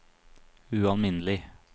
ualminnelig